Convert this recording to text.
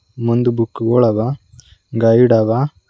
ಮುಂದ್ ಬುಕ್ ಗುಳವ ಗೈಡ್ ಅವ.